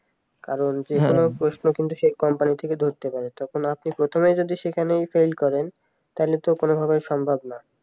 কারণ যে কোন প্রশ্ন কিন্তু সেই company থেকে ধরতে পারে তখন আপনি প্রথমেই যদি সেখানে fail করেন তাহলে তো কোনভাবেই সম্ভব না